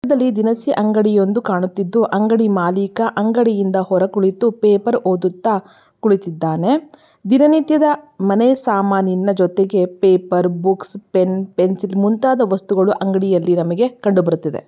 ಇದು ಒಂದು ದಿನಸಿ ಅಂಗಡಿಯೊಂದು ಕಾನಿಸಿತಿದ್ದು ಅಂಗಡಿ ಮಾಲೀಕ ಅಂಗಡಿ ಇಂದ ಹೊರಗೆ ಕೂಳಿತು ಪೇಪರ್ ಓದುತ್ತ ಕುಳಿತ್ತಿದ್ದಾನೆ ದಿನ ನಿತ್ಯದ ಮನೆ ಸಾಮಾನಿನ ಜೊತೆಗೆ ಪೇಪರ್ ಬುಕ್ಸ್ ಪೆಣ್ ಮುಂತಾದ ವಸ್ತುಗಳು ನಮಗೆ ಕಾಣ ಬರುತದೆ.